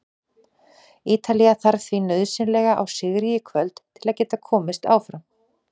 Ítalía þarf því nauðsynlega á sigri í kvöld til að geta komist áfram.